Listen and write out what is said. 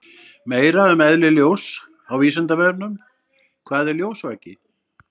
Meira um eðli ljóss á Vísindavefnum: Hvað er ljósvaki?